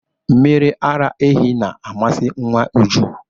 Mmiri ara ehi na-amasị nwa Uju.